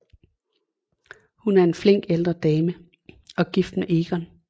Hun er en flink ældre dame og gift med Egon